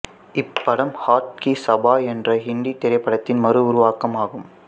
இப்படம் ஹாத் கீ சபாய் என்ற இந்தி திரைப்படத்தின் மறு உருவாக்கமாகும்